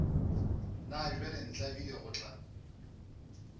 na bjale ntlabile go tla